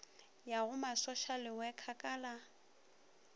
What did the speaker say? ya go masošalewekha ka la